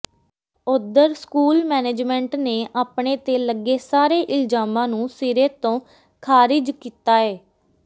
ਉਧਰ school management ਨੇ ਆਪਣੇ ਤੇ ਲੱਗੇ ਸਾਰੇ ਇਲਜਾਮਾਂ ਨੂੰ ਸਿਰੇ ਤੋਂ ਖਾਰਿਜ ਕੀਤਾ ਏ